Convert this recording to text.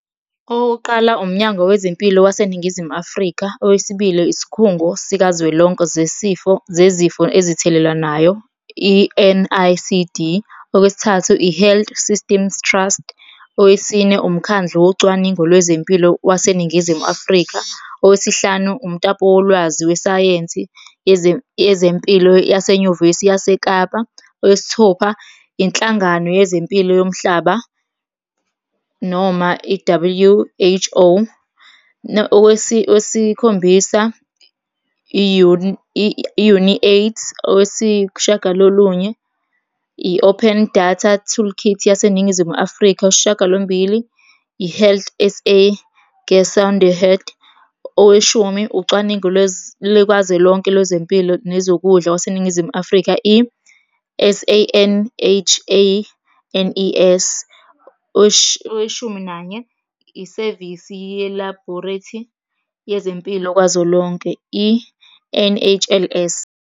Okokuqala, uMnyango Wezempilo waseNingizimu Afrika. Owesibili, isikhungo sikazwelonke zesifo, zezifo ezithelelanayo, i-N_I_C_D. Okwesithathu, i-Health Systems Trust. Owesine, umkhandlu wocwaningo lwezempilo waseNingizimu Afrika. Owesihlanu, umtapo wolwazi wesayensi yezempilo yasenyuvesi yaseKapa. Owesithupha, inhlangano yezempilo yomhlaba noma i-W_H_O. Owesikhombisa, i-UNAIDS. Owesishiyagalolunye, i-Open Data Toolkits yaseNingizimu Afrika. Owesishiyagalombili, i-Health S_A Gesondheid. Oweshumi, ucwaningo lukazwelonke lwezempilo nezokudla kwaseNingizimu Afrika, i-S_A_N_H_A_N_E_S. Oweshuminanye, isevisi ye-labhorethi yezempilo kwazo lonke, i-N_H_L_S.